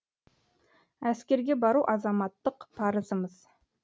әскерге бару азаматтық парызымыз